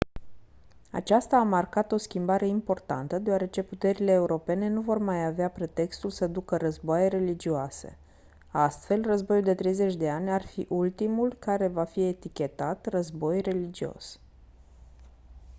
aceasta a marcat o schimbare importantă deoarece puterile europene nu vor mai avea pretextul să ducă războaie religioase astfel războiul de 30 de ani ar fi ultimul război care va fi etichetat război religios